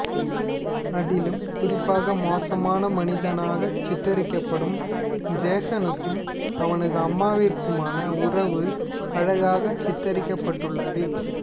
அதிலும் குறிப்பாக மோசமான மனிதனாகச் சித்தரிக்கபடும் ஜேசனுக்கும் அவனது அம்மாவிற்குமான உறவு அழகாகச் சித்தரிக்கபட்டுள்ளது